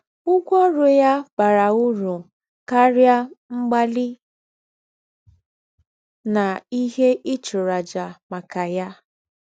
Ụ́gwọ́ ọ̀rụ́ yà bàrà ūrù káríà mgbálí na íhè í chùrù àjà maka ya.